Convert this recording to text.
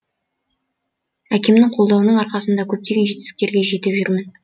әкемнің қолдауының арқасында көптеген жетістіктерге жетіп жүрмін